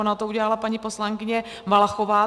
Ona to udělala paní poslankyně Valachová.